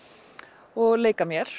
og leika mér